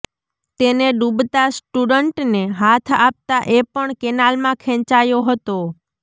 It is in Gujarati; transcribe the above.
તેને ડુબતા સ્ટુડન્ટને હાથ આપતા એ પણ કેનાલમાં ખેંચાયો હતો